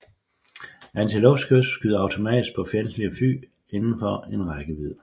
Antiluftskytset skyder automatisk på fjendtlige fly inden for rækkevidde